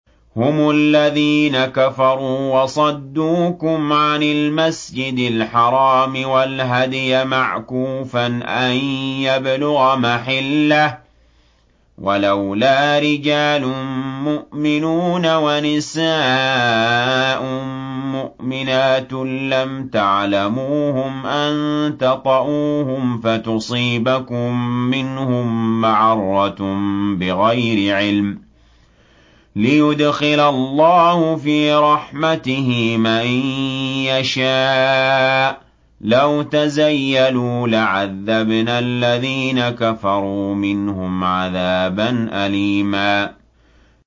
هُمُ الَّذِينَ كَفَرُوا وَصَدُّوكُمْ عَنِ الْمَسْجِدِ الْحَرَامِ وَالْهَدْيَ مَعْكُوفًا أَن يَبْلُغَ مَحِلَّهُ ۚ وَلَوْلَا رِجَالٌ مُّؤْمِنُونَ وَنِسَاءٌ مُّؤْمِنَاتٌ لَّمْ تَعْلَمُوهُمْ أَن تَطَئُوهُمْ فَتُصِيبَكُم مِّنْهُم مَّعَرَّةٌ بِغَيْرِ عِلْمٍ ۖ لِّيُدْخِلَ اللَّهُ فِي رَحْمَتِهِ مَن يَشَاءُ ۚ لَوْ تَزَيَّلُوا لَعَذَّبْنَا الَّذِينَ كَفَرُوا مِنْهُمْ عَذَابًا أَلِيمًا